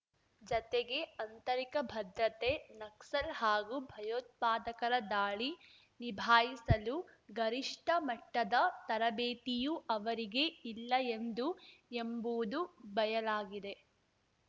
ಜತೆಗೆ ಆಂತರಿಕ ಭದ್ರತೆ ನಕ್ಸಲ್‌ ಹಾಗೂ ಭಯೋತ್ಪಾದಕರ ದಾಳಿ ನಿಭಾಯಿಸಲು ಗರಿಷ್ಠ ಮಟ್ಟದ ತರಬೇತಿಯೂ ಅವರಿಗೆ ಇಲ್ಲ ಎಂದು ಎಂಬುವುದು ಬಯಲಾಗಿದೆ